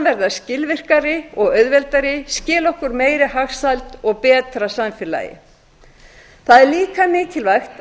verða skilvirkari og auðveldari skila okkur meiri hagsæld og betra samfélagi það er líka mikilvægt